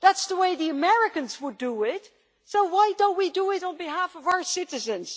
That is the way the Americans would do it, so why do we not do it on behalf of our citizens?